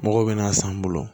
Mɔgɔw bɛna san n bolo